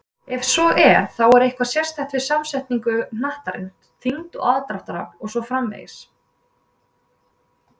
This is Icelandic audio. Ef svo er, er þá eitthvað sérstakt við samsetningu hnattarins, þyngd, aðdráttarafl og svo framvegis?